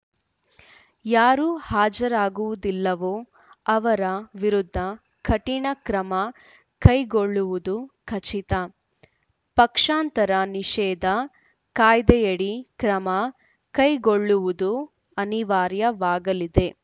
ಯಾರು ಹಾಜರಾಗುವುದಿಲ್ಲವೋ ಅವರ ವಿರುದ್ಧ ಕಠಿಣ ಕ್ರಮ ಕೈಗೊಳ್ಳುವುದು ಖಚಿತ ಪಕ್ಷಾಂತರ ನಿಷೇಧ ಕಾಯ್ದೆಯಡಿ ಕ್ರಮ ಕೈಗೊಳ್ಳುವುದು ಅನಿವಾರ್ಯವಾಗಲಿದೆ